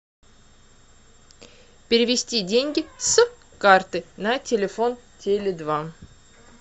перевести деньги с карты на телефон теле два